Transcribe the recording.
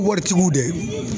Waritigiw dɛ.